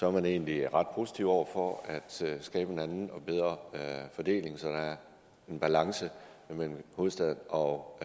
er man egentlig ret positive over for at skabe en anden og bedre fordeling så der er en balance mellem hovedstaden og